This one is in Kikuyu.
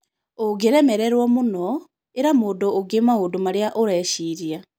Ũngĩrĩmerĩrwo mũno, ĩra mũndũ ũngĩ maũndũ marĩa ũreciria.